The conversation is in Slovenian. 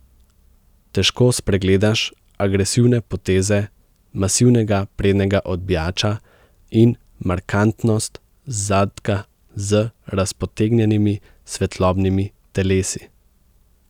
Težko spregledaš agresivne poteze masivnega prednjega odbijača in markantnost zadka z razpotegnjenimi svetlobnimi telesi.